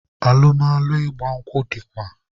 Alụmalụ ịgba nkwụ dịkwa